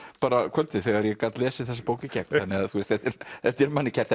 kvöldið þegar ég gat lesið þessa bók í gegn þetta er þetta er manni kært